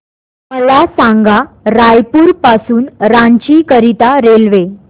मला सांगा रायपुर पासून रांची करीता रेल्वे